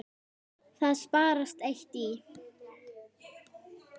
Það sparast eitt í.